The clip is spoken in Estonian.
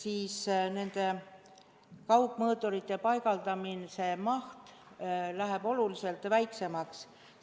siis nende kaugmõõturite paigaldamise maht läheb oluliselt väiksemaks.